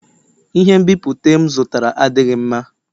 Ihe nbipute m zụtara adịghị mma